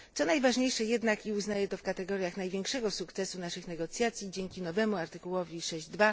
Co najważniejsze jednak, i uznaję to w kategoriach największego sukcesu naszych negocjacji, dzięki nowemu artykułowi 6 ust.